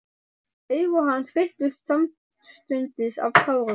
Augu hans fylltust samstundis af tárum.